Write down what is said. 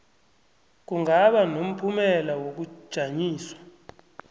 kungaba nomphumela wokujanyiswa